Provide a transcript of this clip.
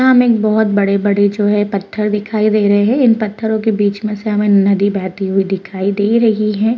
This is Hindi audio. यहां हमें एक बहुत बड़े-बड़े जो हैं ये पत्थर दिखाई दे रहे हैं इन पत्थरो के बीच में से हमें नदी बहती हुई दिखाई दे रही हैं।